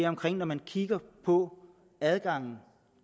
om at når man kigger på adgangen